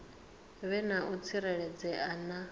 vhe na u tsireledzea na